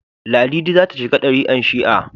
Ladidi za ta shiga darikan shi'a